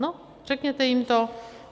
No řekněte jim to.